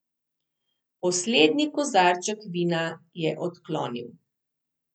Poslednji kozarček vina je odklonil.